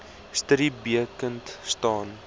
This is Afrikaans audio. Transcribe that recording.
studie bekend staan